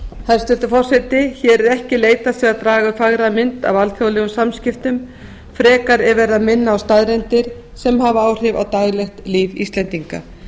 hæstvirtur forseti hér er ekki leitast við að draga upp fagra mynd af alþjóðlegum samskiptum frekar er verið að minna á staðreyndir sem hafa áhrif á daglegt líf íslendinga